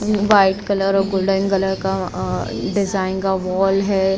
White colour और golden colour का design का वॉल है।